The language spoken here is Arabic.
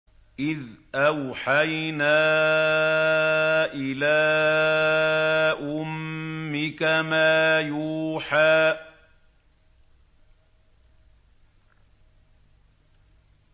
إِذْ أَوْحَيْنَا إِلَىٰ أُمِّكَ مَا يُوحَىٰ